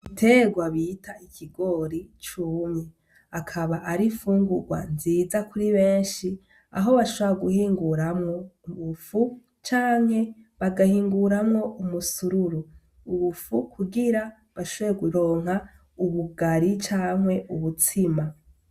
Igiterwa bita ikigori cumye. Akaba ari ifungugwa nziza kuri benshi, aho bashobora guhinguramwo ubufu canke bagahinguramwo umusururu. Ubufu kugira bashobore kuronka ubugari canke ubutsima.